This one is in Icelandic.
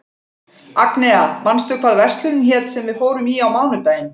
Agnea, manstu hvað verslunin hét sem við fórum í á mánudaginn?